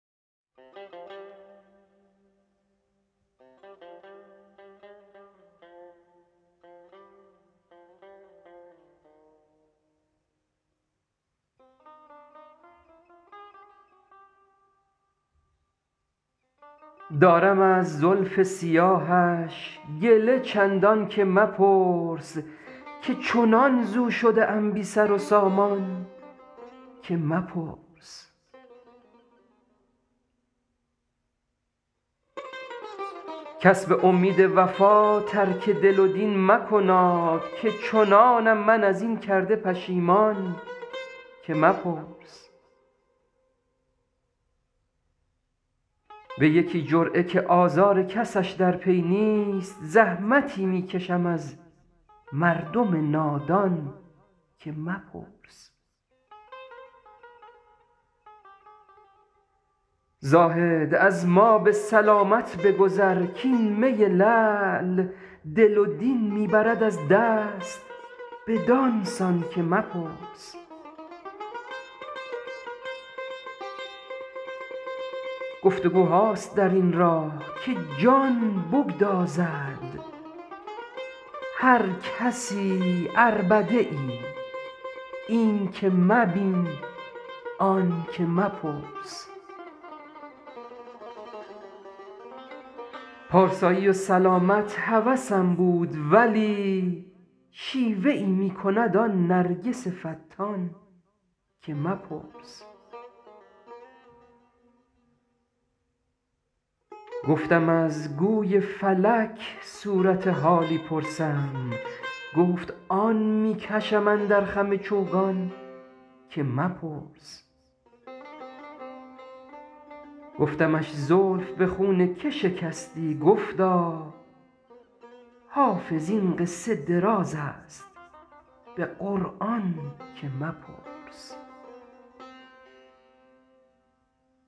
دارم از زلف سیاهش گله چندان که مپرس که چنان ز او شده ام بی سر و سامان که مپرس کس به امید وفا ترک دل و دین مکناد که چنانم من از این کرده پشیمان که مپرس به یکی جرعه که آزار کسش در پی نیست زحمتی می کشم از مردم نادان که مپرس زاهد از ما به سلامت بگذر کـ این می لعل دل و دین می برد از دست بدان سان که مپرس گفت وگوهاست در این راه که جان بگدازد هر کسی عربده ای این که مبین آن که مپرس پارسایی و سلامت هوسم بود ولی شیوه ای می کند آن نرگس فتان که مپرس گفتم از گوی فلک صورت حالی پرسم گفت آن می کشم اندر خم چوگان که مپرس گفتمش زلف به خون که شکستی گفتا حافظ این قصه دراز است به قرآن که مپرس